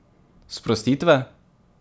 Sprostitve?